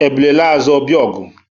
Ebule laa azụ, ọ bịa ọgụ